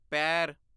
ਪੈਰ